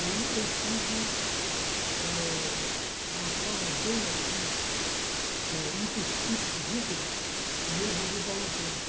Aí eu sigo eh uma forma bem assim, eh ipsis litteris, o meu guru Paulo Freire.